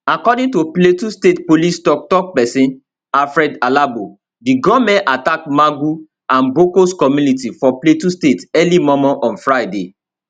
according to plateau state police toktok pesin alfred alabo di gunmen attack magun and bokkos community for plateau state early mormor on friday